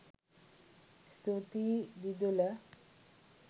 ස්තුතියි දිදුල